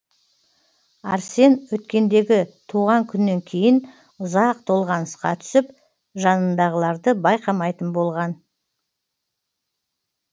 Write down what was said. арсен өткендегі туған күннен кейін ұзақ толғанысқа түсіп жанындағыларды байқамайтын болған